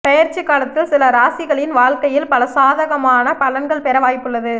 பெயர்ச்சி காலத்தில் சில ராசிகளின் வாழ்க்கையில் பல சாதகமான பலன்கள் பெற வாய்ப்புள்ளது